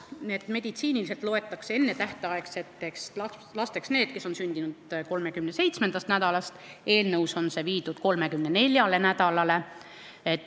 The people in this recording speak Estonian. Meditsiiniliselt loetakse ennetähtaegseteks lasteks need, kes on sündinud enne 37. nädalat, eelnõus on see viidud 34. nädalale.